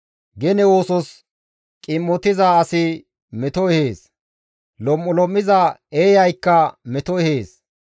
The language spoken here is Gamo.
Gene oosos qim7otiza asi meto ehees; lom7ulom7iza eeyaykka meto ehees.